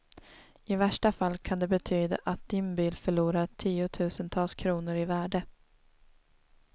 I värsta fall kan det betyda att din bil förlorar tiotusentals kronor i värde.